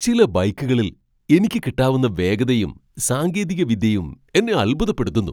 ചില ബൈക്കുകളിൽ എനിക്ക് കിട്ടാവുന്ന വേഗതയും സാങ്കേതിക വിദ്യയും എന്നെ അൽഭുതപ്പെടുത്തുന്നു.